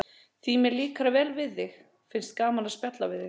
Því mér líkar vel við þig og finnst gaman að spjalla við þig.